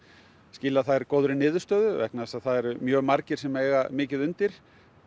skila þær góðri niðurstöðu vegna þess að það eru mjög margir sem eiga mikið undir